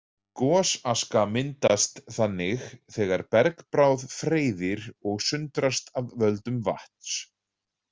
Gosaska myndast þannig þegar bergbráð freyðir og sundrast af völdum vatns.